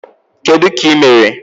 Kedụ ka imere?